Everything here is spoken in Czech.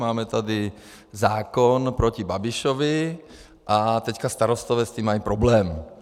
Máme tady zákon proti Babišovi a teďka starostové s tím mají problémy.